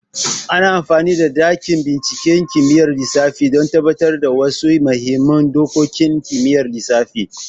Ana amfani da dakin binciken kimiyyar lissafi don tabbatar da wasu muhimman dokokin kimiyyar lissafi.